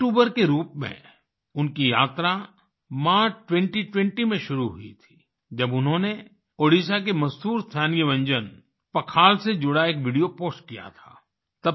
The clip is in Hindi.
एक यूट्यूबर के रूप में उनकी यात्रा मार्च 2020 में शुरू हुई थी जब उन्होंने ओडिशा के मशहूर स्थानीय व्यंजन पखाल से जुड़ा एक वीडियो पोस्ट किया था